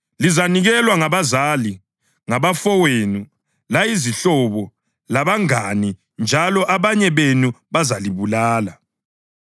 Lizanikelwa ngabazali, ngabafowenu layizihlobo labangane njalo abanye benu bazalibulala.